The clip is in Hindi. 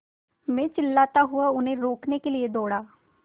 मैं चिल्लाता हुआ उन्हें रोकने के लिए दौड़ा